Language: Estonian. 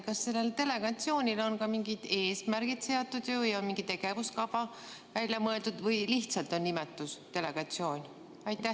Kas sellel delegatsioonil on ka mingid eesmärgid seatud ja mingi tegevuskava välja mõeldud või lihtsalt on nimetus "delegatsioon"?